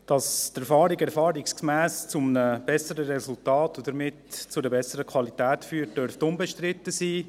Dass die Erfahrung erfahrungsgemäss zu einem besseren Resultat und damit zu einer besseren Qualität führt, dürfte unbestritten sein.